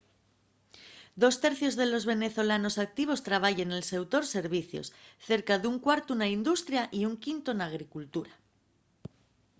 dos tercios de los venezolanos activos trabayen nel seutor servicios cerca d'un cuartu na industria y un quintu na agricultura